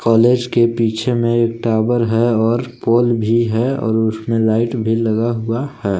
Palace के पीछे मे एक टावर है और पोल भी है और उसमें लाइट भी लगा हुआ है।